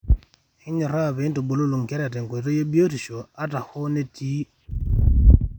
ekinyoraa pee intubulu inkera tenkoitoi e biotisho ata hoo etiii irbulabol.